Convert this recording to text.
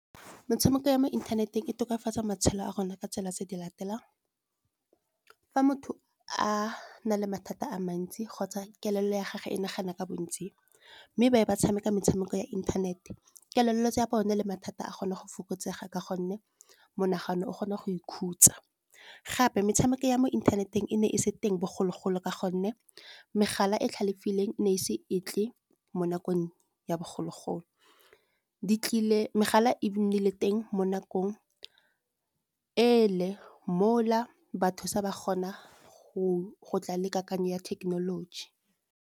Metshameko ya mo inthaneteng e tokafatsa matshelo a rona ka tsela tse di latelang. Fa motho a na le mathata a mantsi kgotsa kelello ya gage e nagana ka bontsi. Mme ba be ba tshameka metshameko ya inthanete, kellello ya bone le mathata a kgone go fokotsega, ka gonne monagano o kgona go ikhutsa. Gape metshameko ya mo inthaneteng e ne e se teng bogologolo ka gonne megala e tlhalefileng e ne e isi e tle, mo nakong ya bogologolo. Megala e nnile teng mo nakong e le mola batho sa ba kgona go go tla le kakanyo ya thekenoloji.